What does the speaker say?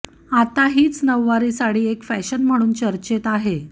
आता हीच नऊवारी साडी एक फॅशन म्हणून चर्चेत आहे